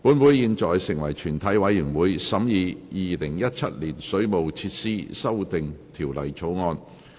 本會現在成為全體委員會，審議《2017年水務設施條例草案》。